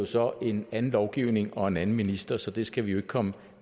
så en anden lovgivning og en anden minister så det skal vi jo ikke komme